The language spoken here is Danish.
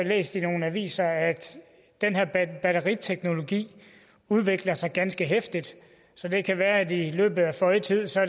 læst i nogle aviser at den her batteriteknologi udvikler sig ganske heftigt så det kan være at det i løbet af føje tid